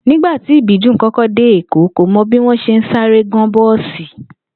Nígbà tí Ìbídùn kó̩ko̩ dé Èkó, kò mo̩ bí wó̩n s̩e ń sáré gán bó̩ò̩sì